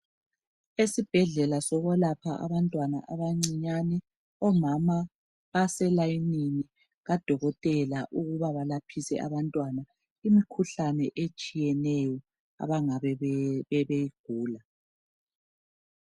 Esibhedlela sokwelapha abantwana abancinyane omama baselayinini kadokotela ukuba balaphise abantwana imkhuhlane etshiyeneyo abangabe beyigula.